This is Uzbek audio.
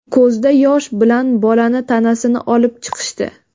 Ko‘zda yosh bilan bolani tanasini olib chiqishdi.